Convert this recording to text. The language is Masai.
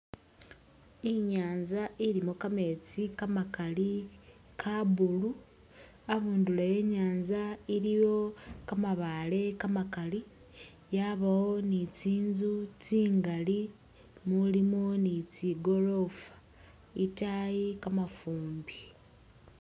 I'nyanza ilimo kameetsi kamakali ka'blue, a'bundulo e'nyanza iliwo kamabaale kamakali yabawo ni tsi'nzu tsingali mulimo ni tsigorofa, i'taayi kamafumbi